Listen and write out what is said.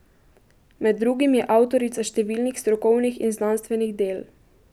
Med drugim je avtorica številnih strokovnih in znanstvenih del.